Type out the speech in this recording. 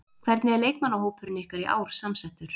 Hvernig er leikmannahópurinn ykkar í ár samsettur?